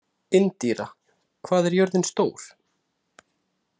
Indíra, hvað er jörðin stór?